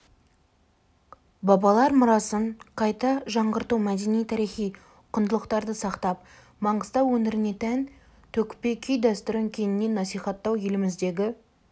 бабалар мұрасын қайта жаңғырту мәдени-тарихи құндылықтарды сақтап маңғыстау өңіріне тән төкпе күй дәстүрін кеңінен насихаттау еліміздегі